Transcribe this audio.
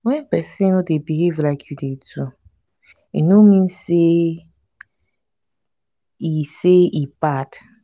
wen pesin no dey behave like you dey do e no mean say e say e bad.